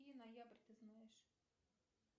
и ноябрь ты знаешь